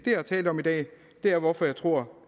jeg har talt om i dag er hvorfor jeg tror